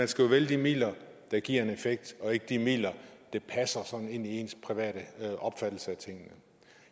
skal jo vælge de midler der giver en effekt og ikke de midler der passer sådan ind i ens private opfattelse af tingene